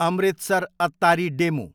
Amritsar, Attari DEMU